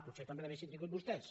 potser també l’haurien tingut vostès